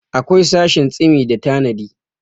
akwai sashin tsimi da tanadi